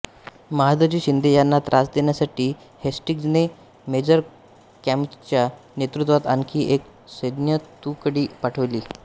महादजी शिंदे यांना त्रास देण्यासाठी हेस्टिंग्जने मेजर कॅमकच्या नेतृत्वात आणखी एक सैन्यतुकडी पाठविली